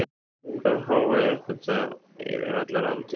Hvaða hávaði er þetta fyrir allar aldir?